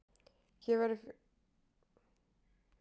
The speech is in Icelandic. Hér verður fjallað um hin lýðveldin fjögur.